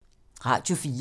Radio 4